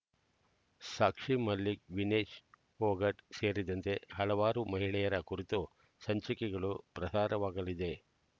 ಸಾಕ್ಷಿ ಮಲಿಕ್ ವಿನೇಶ್ ಪೊಗಾಟ್ ಸೇರಿದಂತೆ ಹಲವಾರು ಮಹಿಳೆಯರ ಕುರಿತ ಸಂಚಿಕೆಗಳು ಪ್ರಹಾದವಾಗಲಿದೆ